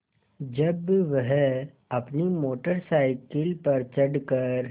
जब वह अपनी मोटर साइकिल पर चढ़ कर